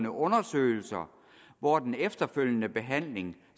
undersøgelser hvor den efterfølgende behandling